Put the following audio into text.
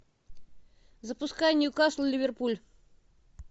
запускай ньюкасл ливерпуль